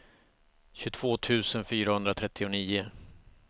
tjugotvå tusen fyrahundratrettionio